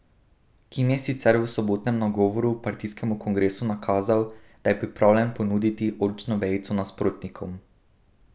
Kim je sicer v sobotnem nagovoru partijskemu kongresu nakazal, da je pripravljen ponuditi oljčno vejico nasprotnikom.